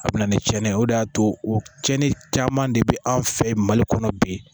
A bɛ na ni cɛnni ye o de y'a to o cɛni caman de bɛ an fɛ yen mali kɔnɔ bi